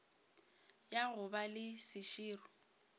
ya go ba le seširo